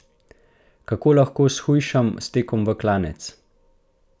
Kako lahko shujšam s tekom v klanec?